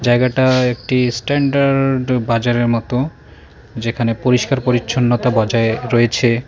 জায়গাটা একটি স্ট্যান্ডার্ড বাজারের মতো যেখানে পরিষ্কার পরিচ্ছন্নতা বজায় রয়েছে।